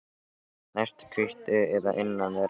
Næst hvítu að innan er æða.